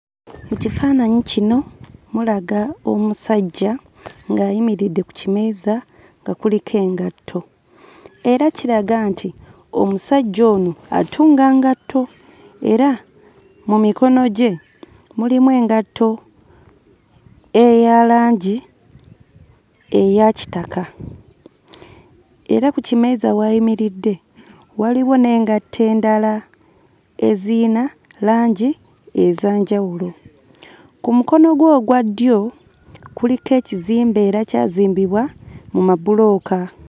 Mu kifaananyi kino mulaga omusajja ng'ayimiridde ku kimeeza nga kuliko engatto, era kiraga nti omusajja ono atunga ngatto era mu mikono gye mulimu engatto eya langi eya kitaka. Era ku kimeeza w'ayimiridde waliwo n'engatto endala eziyina langi ez'enjawulo. Ku mukono gwe ogwa ddyo kuliko ekizimbe era kyazimbibwa mu mabulooka.